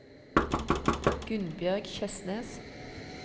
Gunnbjørg Kjøsnes